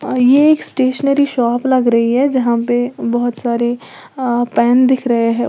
अ ये एक stationery shop लग रही है जहां पे बहोत सारे आ पेन दिख रहे हैं।